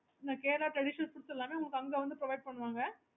okay